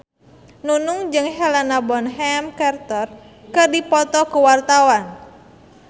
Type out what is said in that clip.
Nunung jeung Helena Bonham Carter keur dipoto ku wartawan